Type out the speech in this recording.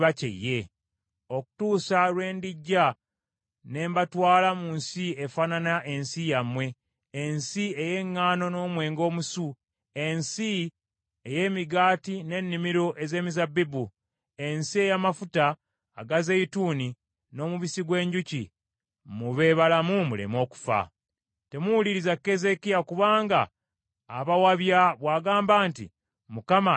okutuusa lwe ndijja ne mbatwala mu nsi efaanana ensi yammwe, ensi ey’eŋŋaano n’omwenge omusu, ensi ey’emigaati n’ennimiro ez’emizabbibu, ensi ey’amafuta aga zeyituuni n’omubisi gw’enjuki, mube balamu muleme okufa.’ “Temuwuliriza Keezeekiya kubanga abawabya bw’agamba nti, ‘ Mukama alibalokola.’